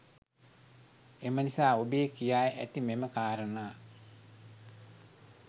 එම නිසා ඔබේ කියා ඇති මෙම කාරණා